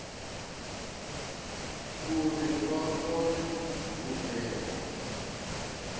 uri vha kone u bvela